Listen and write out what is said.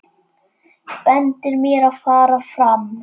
Bendir mér að fara fram.